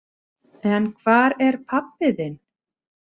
En hvar er pabbi þinn?